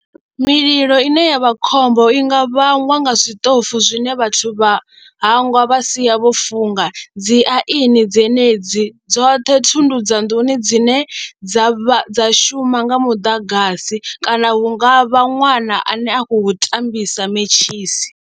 Mililo ine ya vha khombo i nga vhangwa nga zwiṱofu zwine vhathu vha hangwa vha sia vho funga, dzi aini dzenedzi dzoṱhe thundu dza nḓuni dzine dza shuma nga muḓagasi kana hu nga vha ṅwana ane a khou tambisa mentshisi.